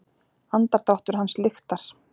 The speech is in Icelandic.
Andardráttur hans lyktar.